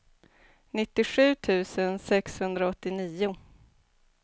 nittiosju tusen sexhundraåttionio